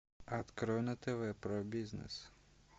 открой на тв про бизнес